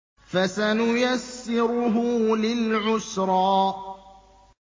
فَسَنُيَسِّرُهُ لِلْعُسْرَىٰ